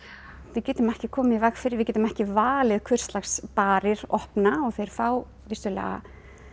við getum ekki komið í veg fyrir við getum ekki valið hvurslags barir opna og þeir fá vissulega